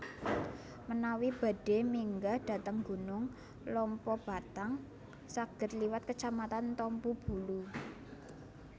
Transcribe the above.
Menawi badhe minggah dhateng Gunung Lompobattang saged liwat kecamatan Tompobulu